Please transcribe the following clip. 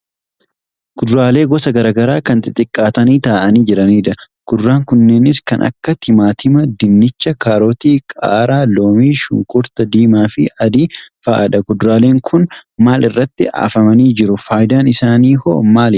Kuduraalee gosa garaagaraa kan xixiqqaatanii taa'anii jiranidha. Kuduraan kunnenis kan akka timaatima, dinnichaa, kaarotii, qaaraa, loomii, shunkurtaa diimaafi adii fa'adha. Kuduraaleen kun maal irratti afamanii jiru? Faayidaan isaanii hoo maalidha?